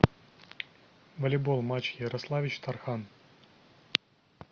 волейбол матч ярославич тархан